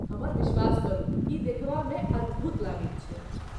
हमर विश्वास करू, ई देखबामे अद्भुत लगैत छै।